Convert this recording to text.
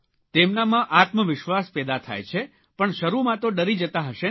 તેમનામાં આત્મવિશ્વાસ પેદા થાય છે પણ શરૂમાં તો ડરી જતા હશેને